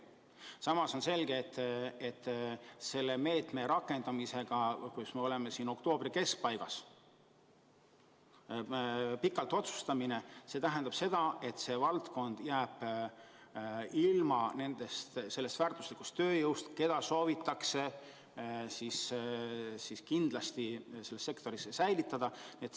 Samas on selge, et kui me selle meetme rakendamise üle novembri keskpaigas pikalt mõtleme, siis see tähendab seda, et see valdkond jääb ilma väärtuslikust tööjõust, keda soovitakse kindlasti selles sektoris säilitada.